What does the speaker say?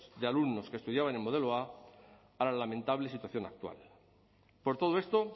de alumnos que estudiaban en modelo a a la lamentable situación actual por todo esto